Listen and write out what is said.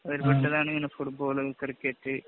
ഒരുഫുട്ബോള്‍, cricket